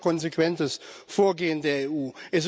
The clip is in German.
Das wäre konsequentes Vorgehen der EU.